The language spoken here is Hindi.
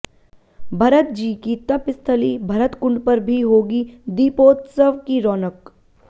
भरतजी की तपस्थली भरतकुंड पर भी होगी दीपोत्सव की रौनक